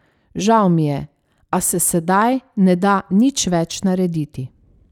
Žal mi je, a se sedaj ne da nič več narediti.